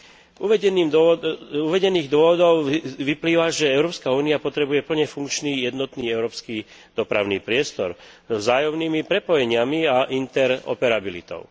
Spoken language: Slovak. Z uvedených dôvodov vyplýva, že Európska únia potrebuje plne funkčný jednotný európsky dopravný priestor so vzájomnými prepojeniami a interoperabilitou.